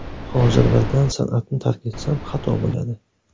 Hozir birdan san’atni tark etsam, xato bo‘ladi.